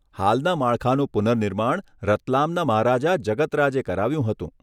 હાલના માળખાનું પુનર્નિર્માણ રતલામના મહારાજા જગત રાજે કરાવ્યું હતું.